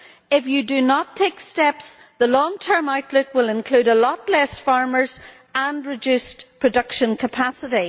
If you do not take steps, the long term outlook will include far fewer farmers and reduced production capacity.